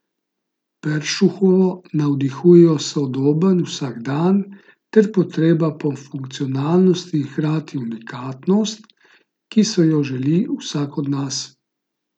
Peršuhovo navdihujejo sodoben vsakdan ter potreba po funkcionalnosti in hkrati unikatnost, ki so jo želi vsak od nas.